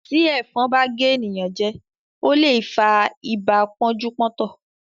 Tí ẹ̀fọn bá gé ènìyàn jẹ, ó lè fa ibà pọ́njú-pọ́ntọ̀.